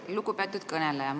Lugupeetud kõneleja!